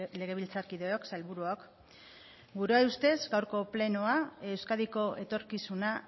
legebiltzarkideok sailburuok gure ustez gaurko plenoa euskadiko etorkizuna